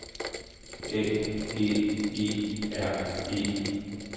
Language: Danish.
A G E R E